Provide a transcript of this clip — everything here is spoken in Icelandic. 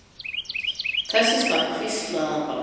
Þess í stað hvíslaði hann bara